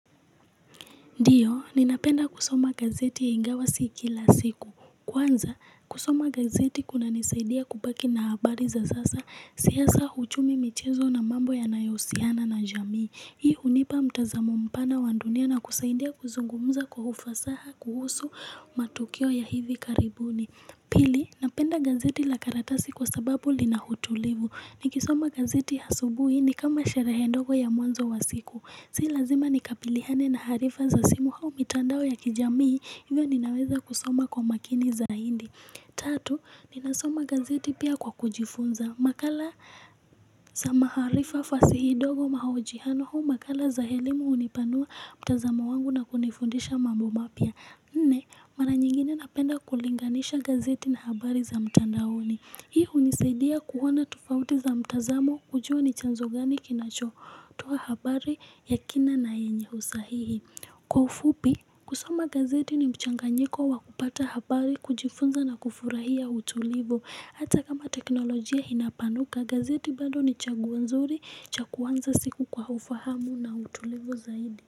Ndiyo, ninapenda kusoma gazeti ingawa si kila siku. Kwanza, kusoma gazeti kunanisaidia kupaki na habari za sasa, siyasa huchumi michezo na mambo ya nayosiana na jamii. Hii unipa mtazamo mpana wa dunia na kusaidia kuzungumuza kwa ufasaha kuhusu matukio ya hivi karibuni. Pili, napenda gazeti la karatasi kwa sababu lina utulivu. Nikisoma gazeti asubuhi ni kama sherehe ndogo ya mwanzo wa siku. Si lazima nikapilihane na harifa za simu hau mitandao ya kijamii hivyo ninaweza kusoma kwa makini zaidi. Tatu, ninasoma gazeti pia kwa kujifunza. Makala za maharifa fasi hidogo mahojihano huu makala za helimu unipanua mtazamo wangu na kunifundisha mambo mapya. Nne, mara nyingine napenda kulinganisha gazeti na habari za mtandao ni. Hii unisaidia kuhona tufauti za mtazamo kujua ni chanzugani kinacho. Toa habari ya kina na yenye usahihi. Kwa ufupi, kusoma gazeti ni mchanganyiko wa kupata habari kujifunza na kufurahia utulivu. Hata kama teknolojia inapanuka, gazeti bado ni chaguo nzuri, cha kuanza siku kwa ufahamu na utulivu zaidi.